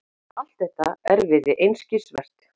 Allt þetta erfiði einskisvert.